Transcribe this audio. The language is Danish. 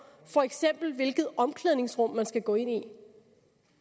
for eksempel hvilket omklædningsrum man skal gå ind i